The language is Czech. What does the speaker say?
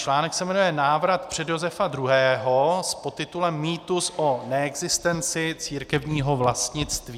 Článek se jmenuje Návrat před Josefa II.?, s podtitulem Mýtus o neexistenci církevního vlastnictví.